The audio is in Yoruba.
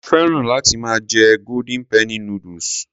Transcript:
Mo féràn láti máa jẹ golden penny noodles.